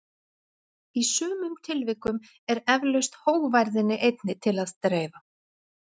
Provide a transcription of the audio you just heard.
í sumum tilvikum er eflaust hógværðinni einni til að dreifa